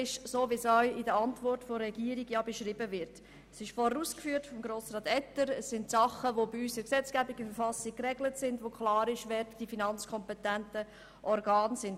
Etter hat bereits ausgeführt, dass diese Dinge in der Verfassung und in der Gesetzgebung geregelt sind und klar ist, welches die finanzkompetenten Organe sind.